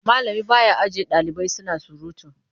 Malami ba ya aji ɗalibai suna surutu.